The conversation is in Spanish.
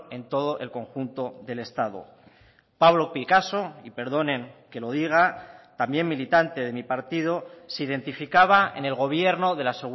en todo el conjunto del estado pablo picasso y perdonen que lo diga también militante de mi partido se identificaba en el gobierno de la